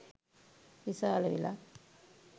විශාල විලක්.